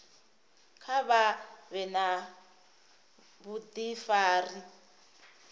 kha vha vhe na vhudifari